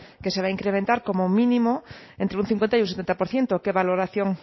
que se va a incrementar como mínimo entre un cincuenta y un setenta por ciento qué valoración